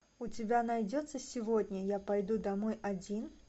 у тебя найдется сегодня я пойду домой один